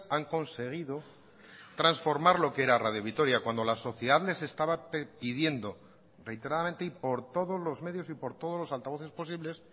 han conseguido transformar lo que era radio vitoria cuando la sociedad les estaba pidiendo reiteradamente y por todos los medios y por todos los altavoces posibles